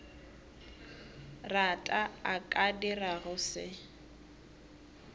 rata a ka dirago se